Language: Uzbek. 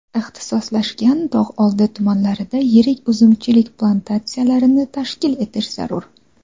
ixtisoslashgan tog‘oldi tumanlarida yirik uzumchilik plantatsiyalarini tashkil etish zarur.